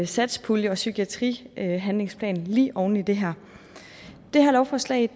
satspulje og psykiatrihandlingsplan lige oven i det her det her lovforslag